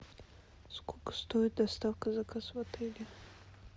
сколько стоит доставка заказа в отеле